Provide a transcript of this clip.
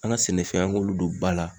An ga sɛnɛfɛnw an g'olu don ba la